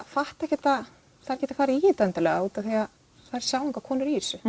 fatta ekkert að þær geti farið í þetta endilega út af þær sjá engar konur í þessu